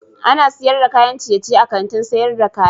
Ana sayar da kayan ciyeciye a Kantin sayar da kaya.